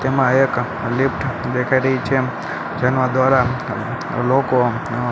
તેમાં એક લિફ્ટ દેખાય રહી છે તેનો દોરાન લોકો અ--